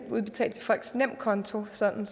udbetalt til folks nemkonto sådan